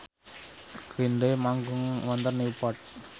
Green Day manggung wonten Newport